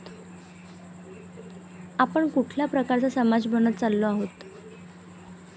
आपण कुठल्या प्रकारचा समाज बनत चाललो आहोत.